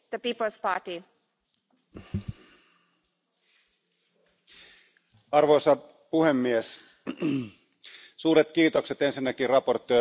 Arvoisa puhemies, suuret kiitokset ensinnäkin esittelijä Hohlmeierille ja komissaari Oettingerille työstä tämän budjetin eteen.